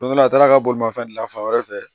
Don dɔ la a taara bolimafɛn dilan fan wɛrɛ fɛ